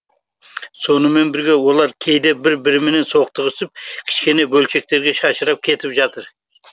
сонымен бірге олар кейде бір бірімен соқтығысып кішкене бөлшектерге шашырап кетіп жатыр